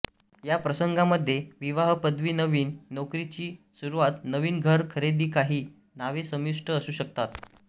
या प्रसंगांमध्ये विवाह पदवी नवीन नोकरीची सुरूवात नवीन घर खरेदी काही नावे समाविष्ट असू शकतात